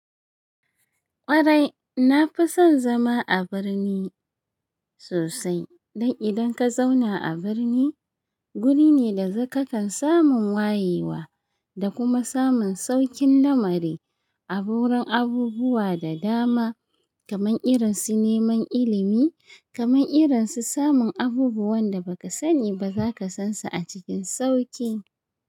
Ƙwarai na fi son zama a birni sosai. Dan idan ka zauna a birni, guri ne da zaka kan samun wayewa da kuma samun sauƙin lamari. Abu wurin abubuwa da dama kaman irin su neman ilimi, kaman irin su samun abubuwan da ba ka sani ba za ka san su a cikin sauƙi.